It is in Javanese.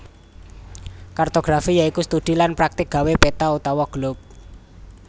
Kartografi ya iku studi lan praktik gawé peta utawa globe